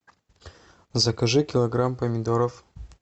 закажи килограмм помидоров